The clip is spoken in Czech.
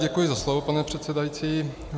Děkuji za slovo, pane předsedající.